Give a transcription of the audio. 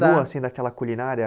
Continua sendo aquela culinária?